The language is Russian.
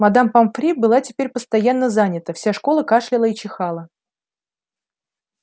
мадам помфри была теперь постоянно занята вся школа кашляла и чихала